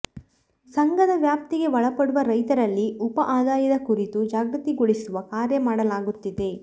ಸಂಘದ ವ್ಯಾಪ್ತಿಗೆ ಒಳಪಡುವ ರೈತರಲ್ಲಿ ಉಪ ಆದಾಯದ ಕುರಿತು ಜಾಗೃತಿಗೊಳಿಸುವ ಕಾರ್ಯ ಮಾಡಲಾಗುತ್ತಿದೆ